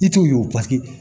I t'o ye o paseke